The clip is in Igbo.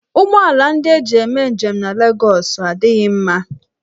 Ụgbọ ala ndị eji eme njem na Legọs adịghị mma.